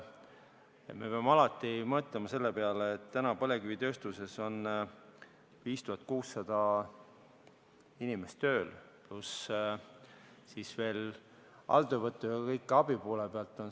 Aga me peame alati mõtlema selle peale, et põlevkivitööstuses on praegu tööl 5600 inimest, pluss need, kes töötavad alltöövõtu korras ja abi poole peal.